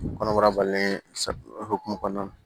Kɔnɔbara balolen hukumu kɔnɔna na